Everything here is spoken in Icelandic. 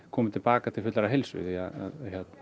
komi til baka til fullrar heilsu því að